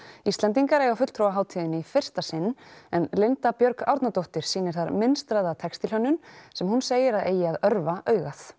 Íslendingar eiga fulltrúa á hátíðinni í fyrsta sinn en Linda Björg Árnadóttir sýnir þar textílhönnun sem hún segir að eigi að örva augað